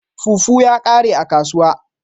Fufu ya kare a kasuwa.